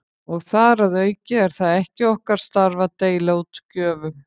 Og þar að auki er það ekki starf okkar að deila út gjöfum.